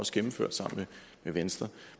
også gennemført sammen med venstre